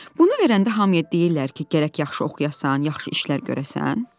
Bunu verəndə hamıya deyirlər ki, gərək yaxşı oxuyasan, yaxşı işlər görəsən?